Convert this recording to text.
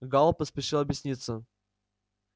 гаал поспешил объясниться